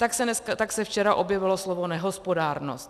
Tak se včera objevilo slovo nehospodárnost.